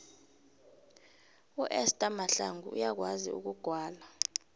uester mahlangu uyakwazi ukugwala